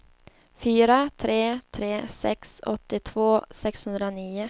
fyra tre tre sex åttiotvå sexhundranio